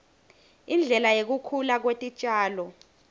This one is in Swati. indlela yekukhula kwetitjalo